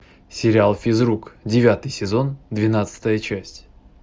сериал физрук девятый сезон двенадцатая часть